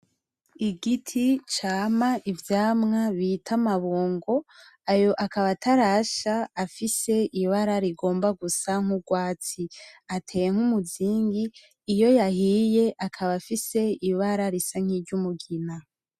Igiti cama ivyamwa bita amabungo, ayo akaba atarasha, afise ibara rigomba gusa n’urwatsi. Ateye nk’umuzingi, iyo yahiye akaba afise ibara risa nk’iry’umugina.